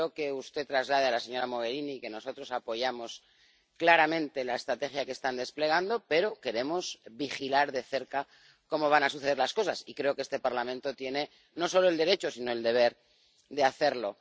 Quiero que usted traslade a la señora Mogherini que nosotros apoyamos claramente la estrategia que están desplegando, pero queremos vigilar de cerca cómo van a suceder las cosas, y creo que este Parlamento tiene no solo el derecho, sino el deber de hacerlo.